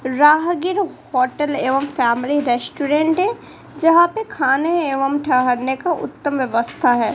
राहगीर होटल एवं family restaurant है जहां पे खाने एवं ठहरने का उत्तम व्यवस्था है।